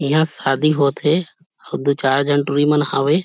इहां शादी हो थे अऊ दू चार झन टूरी मन हावे।